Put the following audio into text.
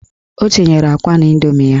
O tinyere akwa n'indomi ya.